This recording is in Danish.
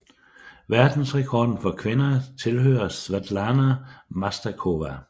Verdensrekorden for kvinder tilhører Svetlana Masterkova